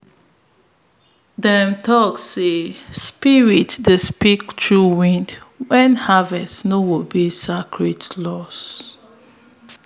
them talk say spirit dey speak through wind when harvest no obey sacred laws.